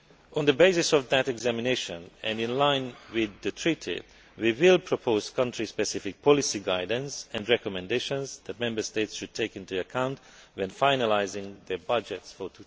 On the basis of that examination and in line with the Treaty, we will propose country specific policy guidance and recommendations that Member States should take into account when finalising their budgets for